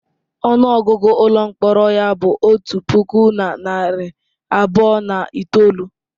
Ọnụ ọgụgụ ụlọ mkpọrọ ya bụ otu puku na narị abụọ na itoolu.